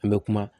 An bɛ kuma